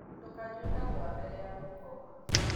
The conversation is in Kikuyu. Ndũkanyũe kahũa mbere ya gũkoma